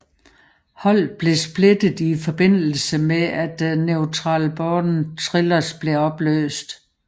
Holdet blev splittet i forbindelse med at Natural Born Thrillers blev opløst